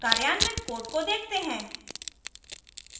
कार्यान्वित code को देखते हैं